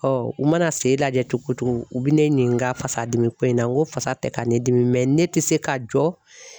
u mana sen lajɛ cogo o cogo u bi ne ɲininka fasadimiko in na n ko fasa tɛ ka n dimi ne tɛ se ka jɔ.